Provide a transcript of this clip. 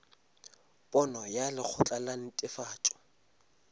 pono ya lekgotla la netefatšo